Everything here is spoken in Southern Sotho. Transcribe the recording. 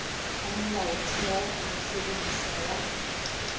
a molaotheo a mosebesetsi wa